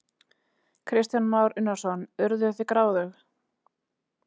Kristján Már Unnarsson: Urðuð þið gráðug?